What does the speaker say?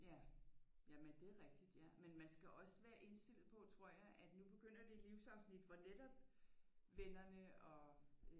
Ja jamen det er rigtigt ja men man skal også være indstillet på tror jeg at nu begynder det livsafsnit hvor netop vennerne og